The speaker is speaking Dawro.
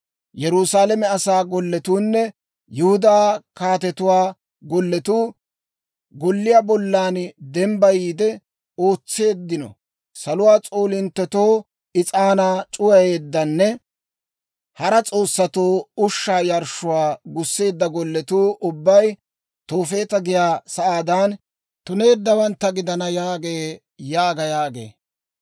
Yerusaalame asaa golletuunne Yihudaa kaatetuwaa golletuu, golliyaa bollan dembbayiide ootseeddino saluwaa s'oolinttetoo is'aanaa c'uwayeeddanne hara s'oossatoo ushshaa yarshshuwaa gusseedda golletuu ubbay Toofeeta giyaa sa'aadan tuneeddawantta gidana» yaagee› yaaga» yaagee.